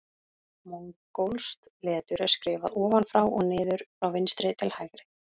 Mongólskt letur er skrifað ofan frá og niður frá vinstri til hægri.